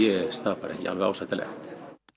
bara ekki ásættanlegt